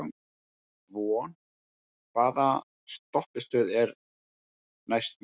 Von, hvaða stoppistöð er næst mér?